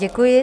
Děkuji.